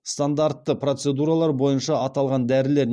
стандартты процедуралар бойынша аталған дәрілер